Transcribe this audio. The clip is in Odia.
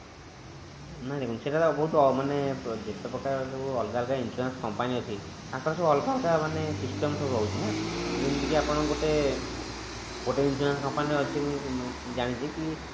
ନାଇଁ ନାଇଁ ସେଇଟା ମାନେ ଯେତେ ପ୍ରକାର ଯଉ ଅଲଗା ଅଲଗା insurance company ଅଛି ତାଙ୍କର ସବୁ ଅଲଗା ଅଲଗା ମାନେ system ସବୁ ରହୁଛି ନା ଯେମିତି କି ଆପଣ ଗୋଟେ ଗୋଟେ insurance company ରେ ଅଛି ମୁଁ ଜାଣିଛି କି